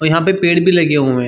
और यहाँ पे पेड़ भी लगे हुए हैं।